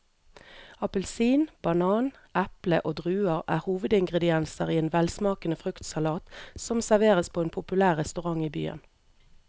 Appelsin, banan, eple og druer er hovedingredienser i en velsmakende fruktsalat som serveres på en populær restaurant i byen.